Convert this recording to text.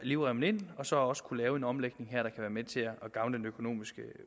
livremmen ind så også at kunne lave en omlægning her der være med til at gavne den økonomiske